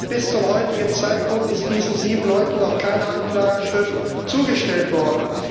Bis zum heutigen Zeitpunkt ist diesen sieben Leuten noch keine Anklageschrift zugestellt worden.